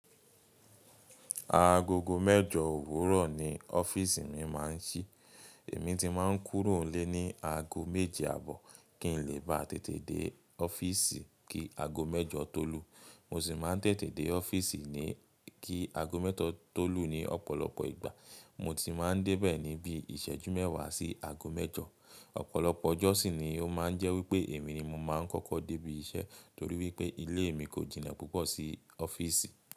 Agogo mẹ́jọ òwúrọ̀ ni ọ́fíìsì mi máa ń ṣí. Èmi ti máa ń kúrò n lé ni aago méje àbọ̀ kí n lè bá tètè dé ọ́fíìsì kí aago mẹ́jọ tó lù. Mo sì máa ń tètè dé ọ́fíìsì ni kí aago mẹ́ta o tó lù ní ọ̀pọ̀lọpọ̀ ìgbà. Mo ti máa ń dé bẹ̀ ní bí ìṣẹ́jú mẹ́wàá sí aago mẹ́jọ. Ọ̀pọ̀lọpọ̀ ọjọ́ sì ni ó máa ń jẹ́ wípé èmi ni mo máa ń kọ́kọ́ dé ibi iṣẹ́ torí wípé ilé mi kò jìnà púpọ̀ sí ọ́fíìsì.